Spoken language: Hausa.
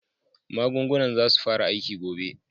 Magungunan zasu fara aiki gobe.